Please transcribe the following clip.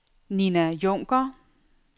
Ninna Junker